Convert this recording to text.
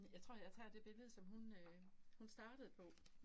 Jeg tror jeg tager det billede som hun øh hun startede på